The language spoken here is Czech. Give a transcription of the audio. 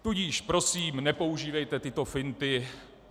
Tudíž prosím, nepoužívejte tyto finty.